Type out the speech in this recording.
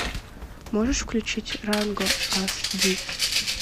можешь включить ранго ас ди